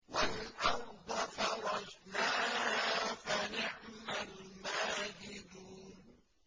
وَالْأَرْضَ فَرَشْنَاهَا فَنِعْمَ الْمَاهِدُونَ